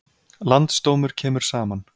Landsdómur kemur saman